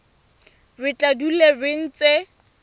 re tla dula re ntse